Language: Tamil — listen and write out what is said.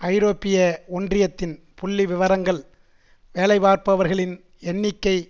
ஐரோப்பிய ஒன்றியத்தின் புள்ளிவிவரங்கள் வேலைபார்ப்பவர்களின் எண்ணிக்கை